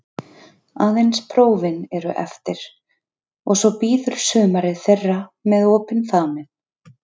Aðeins prófin eru eftir og svo bíður sumarið þeirra með opinn faðminn.